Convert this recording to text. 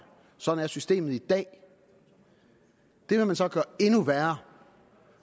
sådan er systemet i dag det vil man så gøre endnu værre